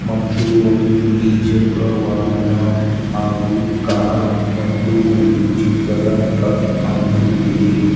ಮತ್ತು ಒಂದು ದ್ವೀ ಚಕ್ರ ವಾಹನ ಹಾಗು ಕಾರ್ ಮತ್ತು ಒಂದು ಚಿಕ್ಕದ ಟ್ರಕ್ ಕಾಣಿಸುತ್ತಿದೆ.